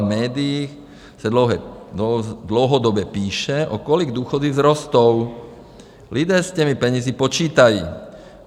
V médiích se dlouhodobě píše, o kolik důchody vzrostou, lidé s těmi penězi počítají.